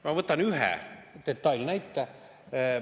Ma võtan ühe näite.